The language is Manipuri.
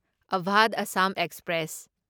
ꯑꯚꯥꯙ ꯑꯁꯥꯝ ꯑꯦꯛꯁꯄ꯭ꯔꯦꯁ